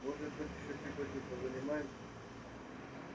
может быть ещё сегодня позанимаемся